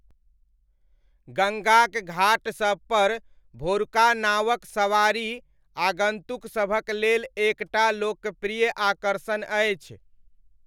गङ्गाक घाट सबपर भोरुका नावक सवारी आगन्तुक सभक लेल एक टा लोकप्रिय आकर्षण अछि।